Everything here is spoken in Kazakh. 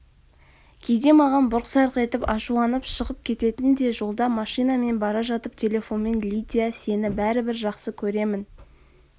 кейде маған бұрқ-сарқ етіп ашуланып шығып кететін де жолда машинамен бара жатып телефонмен лидия сені бәрібір жақсы көремін